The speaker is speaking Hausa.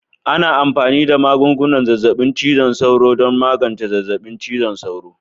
Ana amfani da magungunan zazzabin cizon sauro don magance zazzabin cizon sauro